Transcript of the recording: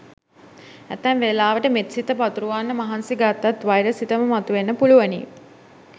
ඇතැම් වෙලාවට මෙත් සිත පතුරුවන්න මහන්සි ගත්තත් වෛර සිතම මතුවෙන්න පුළුවනි.